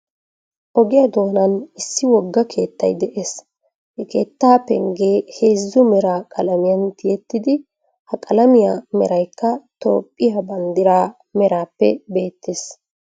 Ogiya doonan issi wogga keettay de'ees. Ha keettaa penggee heezzu mera qalamiyan tiyettidi, ha qalamiya meraykka toophphiya banddiraa merappe beettees.